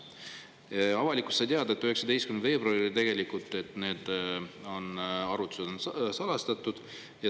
Samas, avalikkus sai 19. veebruaril teada, et tegelikult need arvutused on salastatud.